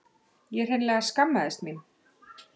Ég hreinlega skammaðist mín.